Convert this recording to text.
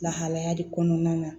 Lahalaya de kɔnɔna na